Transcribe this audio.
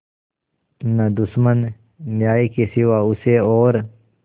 न दुश्मन न्याय के सिवा उसे और